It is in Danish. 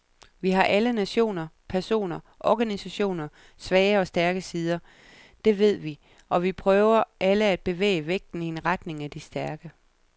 Vi har alle, nationer, personer, organisationer, svage og stærke sider, det ved vi, og vi prøver alle at bevæge vægten i retning af de stærke.